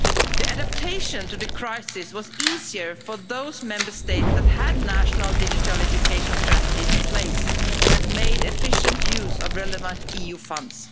The adaptation to the crisis was easier for those Member States that had national digital education strategies in place and had made efficient use of relevant EU funds.